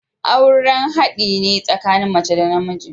Aure haɗi ne tsakanin mace da namiji.